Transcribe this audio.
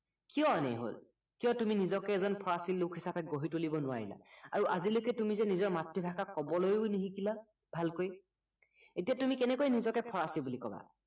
কিয় এনে হল কিয় তুুমি নিজকে এজন ফৰাচী লোক হিচাপে গঢ়ি তুলিব নোৱাৰিলা আৰু আজিলৈকে তুমি যে নিজৰ মাতৃভাষা কবলৈও নিশিকিলা ভালকৈ এতিয়া তুমি কেনেকৈ নিজকে ফৰাচী বুলি কবা